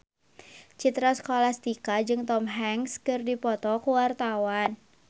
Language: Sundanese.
Citra Scholastika jeung Tom Hanks keur dipoto ku wartawan